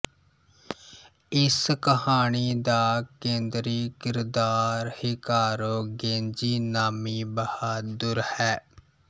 ਇਸ ਕਹਾਣੀ ਦਾ ਕੇਂਦਰੀ ਕਿਰਦਾਰ ਹਿਕਾਰੋ ਗੇਂਜੀ ਨਾਮੀ ਬਹਾਦੁਰ ਹੈ